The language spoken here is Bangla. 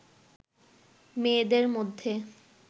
মেয়েদের মধ্যে